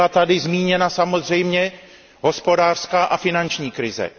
Byla tady zmíněna samozřejmě hospodářská a finanční krize.